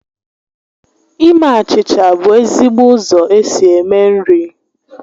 Ime achịcha bụ ezigbo ụzọ esi eme nri